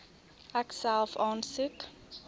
ek self aansoek